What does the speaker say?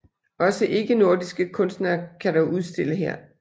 Også ikke nordiske kunstnere kan dog udstille her